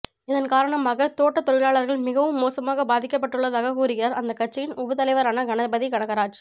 இதன்காரணமாக தோட்டத்தொழிலாளர்கள் மிகவும் மோசமாக பாதிக்கப்பட்டுள்ளதாகக் கூறுகிறார் அந்த கட்சியின் உபதலைவரான கணபதி கனகராஜ்